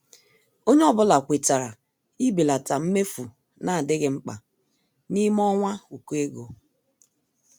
Ònye ọ́bụ̀la kwètàrà ibèlata mmefu na-adịghị mkpa n'ime ọnwa ụkọ ego.